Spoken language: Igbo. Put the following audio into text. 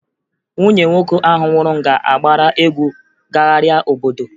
Nwunye nwoke ahụ nwụrụ ga-agbara egwu gagharịa obodo